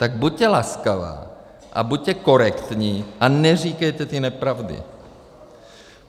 Tak buďte laskavá a buďte korektní a neříkejte ty nepravdy.